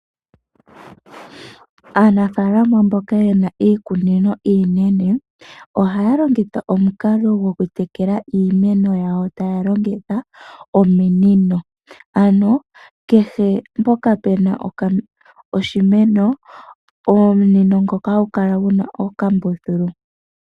Aanafaalama mboka yena iikunino iinene ohaya longitha omukalo gokutekela iimeno yawo taya longitha ominino, ano kehe mpoka pena oshimeno. Omunino ngoka hagu kala guna okambuthulu.